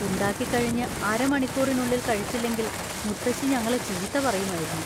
ഉണ്ടാക്കിക്കഴിഞ്ഞ് അര മണിക്കൂറിനുള്ളിൽ കഴിച്ചില്ലെങ്കിൽ മുത്തശ്ശി ഞങ്ങളെ ചീത്ത പറയുമായിരുന്നു.